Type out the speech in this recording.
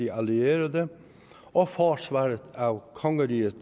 allierede og forsvaret af kongeriget